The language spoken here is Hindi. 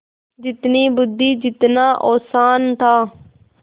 जितनी बुद्वि जितना औसान था